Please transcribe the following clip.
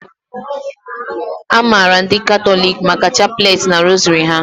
A maara ndị Katọliki maka chapleti na rosary ha